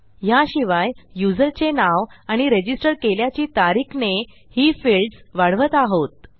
याशिवाय युजरचे नाव आणि रजिस्टर केल्याची तारीख ने ही फिल्डस वाढवत आहोत